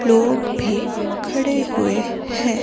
लोग भी खड़े हुए हैं।